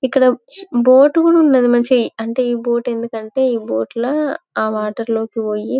ఇక్కడ బోటు కూడా ఉన్నది మంచిగా అంటే ఈ బోటు అందుకు అంటే ఈ బోటు లో ఆ వాటర్ లోకి పోయి.